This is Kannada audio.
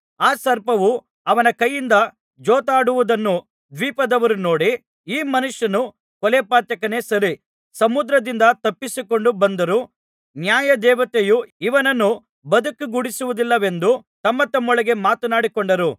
ಆ ಸರ್ಪವು ಅವನ ಕೈಯಿಂದ ಜೋತಾಡುವುದನ್ನು ದ್ವೀಪದವರು ನೋಡಿ ಈ ಮನುಷ್ಯನು ಕೊಲೆಪಾತಕನೇ ಸರಿ ಸಮುದ್ರದಿಂದ ತಪ್ಪಿಸಿಕೊಂಡು ಬಂದರೂ ನ್ಯಾಯದೇವತೆಯು ಇವನನ್ನು ಬದುಕಗೊಡಿಸುವುದಿಲ್ಲವೆಂದು ತಮ್ಮತಮ್ಮೊಳಗೆ ಮಾತನಾಡಿಕೊಂಡರು